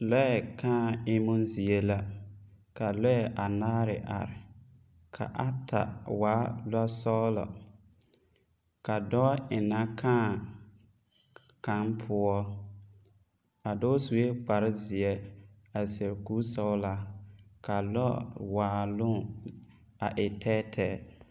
Lɔɛ kaa emmo zie la ka lɔɛ anaare are ka ata waa lɔsɔglɔ ka dɔɔ eŋnɛ kaa kaŋ poɔ a dɔɔ sue kparrezeɛ a seɛ koresɔglaa ka a lɔwaaloŋ a e tɛɛtɛɛ.